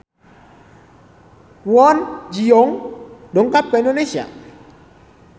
Kwon Ji Yong dongkap ka Indonesia